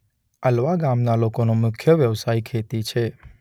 અલવા ગામના લોકોનો મુખ્ય વ્યવસાય ખેતી છે.